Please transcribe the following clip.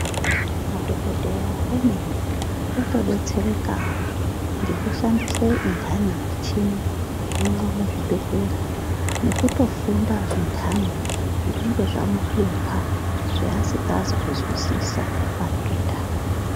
Madhokodheya emene oto detserekawo ngekushandise ndani michini irimwo muzvi bhedhlera nekutofunda zvindhani zvinenge zvamu hlupa zveasikazi kuzwisisa padenda .